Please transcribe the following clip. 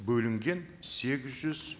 бөлінген сегіз жүз